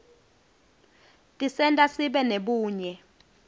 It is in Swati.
tisenta sibe nebunye